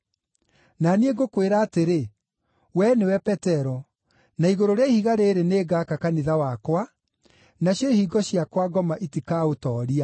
Na niĩ ngũkwĩra atĩrĩ, wee nĩwe Petero, na igũrũ rĩa ihiga rĩrĩ nĩngaka kanitha wakwa, nacio ihingo cia kwa ngoma itikaũtooria.